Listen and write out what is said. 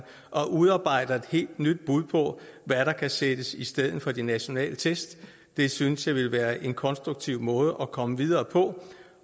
og udarbejder et helt nyt bud på hvad der kan sættes i stedet for de nationale tests det synes jeg ville være en konstruktiv måde at komme videre på